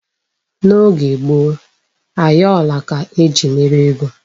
N'oge gboo, ayọla ka eji mere ego.